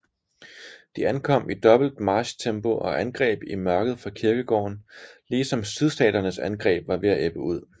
De ankom i dobbelt marchtempo og angreb i mørket fra kirkegården lige som sydstaternes angreb var ved at ebbe ud